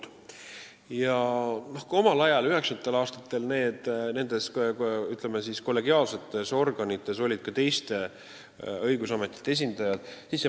Omal ajal, 1990. aastatel nendes kollegiaalsetes organites olid ka teiste õigusametite esindajad.